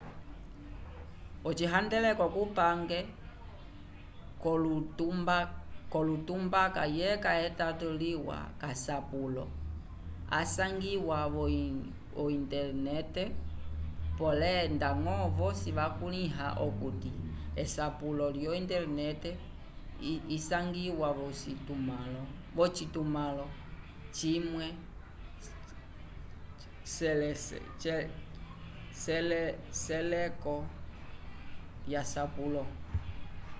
ocihandeleko cupange colotumandaka yeca etato liwa k'asapulo asangiwa vo-intelenete polé ndañgo vosi vakulĩha okuti esapulo lyo-intelenete isangiwe v'ocitumãlo cimwe c'eseleko lyasapulo